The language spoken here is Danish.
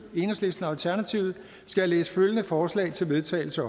jeg læse følgende op forslag til vedtagelse